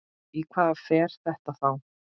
Í hvað fer þetta þá?